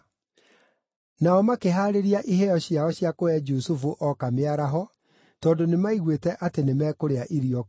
Nao makĩhaarĩria iheo ciao cia kũhe Jusufu ooka mĩaraho, tondũ nĩmaiguĩte atĩ nĩmekũrĩa irio kuo.